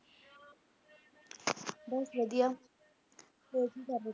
ਬਸ ਵਧੀਆ ਹੋਰ ਕੀ ਕਰ ਰਹੇ ਸੀ?